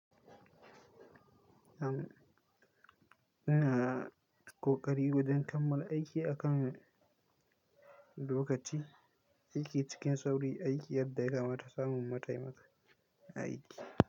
Am ina ƙoƙari wajen kammala aiki akan lokaci. Aiki cikin sauri, aiki yadda ya kamata, samun mataimaka, aiki.